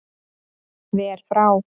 Ver frá